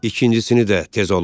İkincisini də tez olun!